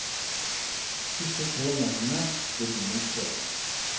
Disse tre mennene ble byens fedre.